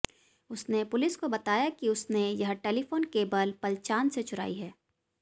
उसने पुलिस को बताया कि उसने यह टेलीफोन केबल पलचान से चुराई है